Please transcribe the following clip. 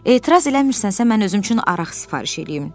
Etiraz eləmirsənsə, mən özüm üçün araq sifariş eləyim.